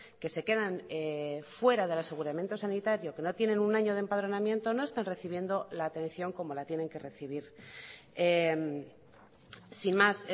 que se quedan fuera del aseguramiento sanitario que no tienen un año de empadronamiento no están recibiendo la atención como la tienen que recibir sin más